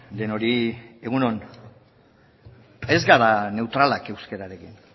denoi egun on ez gara neutralak euskararekin